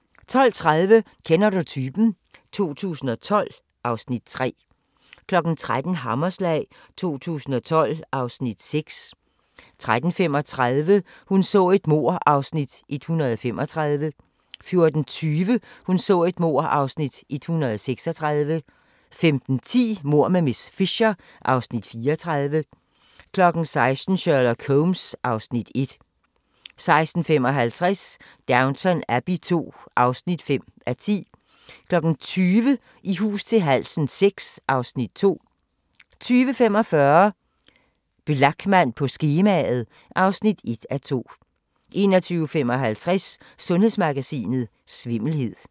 12:30: Kender du typen? 2012 (Afs. 3) 13:00: Hammerslag 2012 (Afs. 6) 13:35: Hun så et mord (Afs. 135) 14:20: Hun så et mord (Afs. 136) 15:10: Mord med miss Fisher (Afs. 34) 16:00: Sherlock Holmes (Afs. 1) 16:55: Downton Abbey II (5:10) 20:00: I hus til halsen VI (Afs. 2) 20:45: Blachman på skemaet (1:2) 21:55: Sundhedsmagasinet: Svimmelhed